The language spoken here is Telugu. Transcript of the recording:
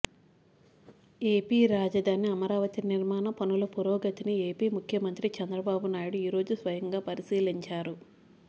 ఏపీ రాజధాని అమరావతి నిర్మాణ పనుల పురోగతిని ఏపీ ముఖ్యమంత్రి చంద్రబాబునాయుడు ఈరోజు స్వయంగా పరిశీలించారు